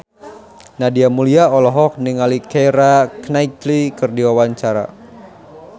Nadia Mulya olohok ningali Keira Knightley keur diwawancara